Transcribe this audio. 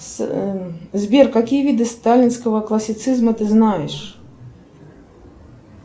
сбер какие виды сталинского классицизма ты знаешь